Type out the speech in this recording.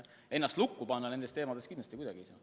Ennast lukku panna nende teemade eest kindlasti kuidagi ei saa.